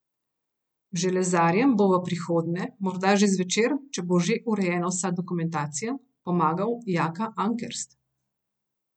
Železarjem bo v prihodnje, morda že zvečer, če bo že urejena vsa dokumentacija, pomagal Jaka Ankerst.